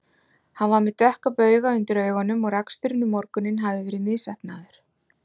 Hann var með dökka bauga undir augunum og raksturinn um morguninn hafði verið misheppnaður.